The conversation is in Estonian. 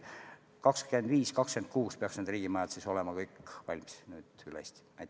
Aastail 2025-2026 peaks need riigimajad kõik üle Eesti valmis olema.